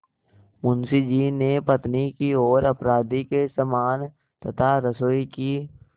मुंशी जी ने पत्नी की ओर अपराधी के समान तथा रसोई की